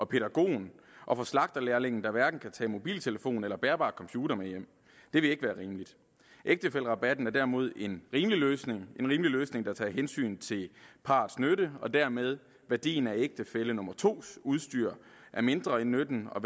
pædagogen og slagterlærlingen der hverken kan tage mobiltelefon eller bærbar computer med hjem det vil ikke være rimeligt ægtefællerabatten er derimod en rimelig løsning rimelig løsning der tager hensyn til parrets nytte og dermed til værdien af ægtefælle nummer to udstyr er mindre end nytten og